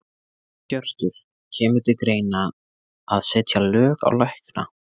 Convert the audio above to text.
Hjörtur: Kemur til greina að setja lög á lækna?